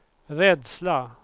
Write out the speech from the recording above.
rädsla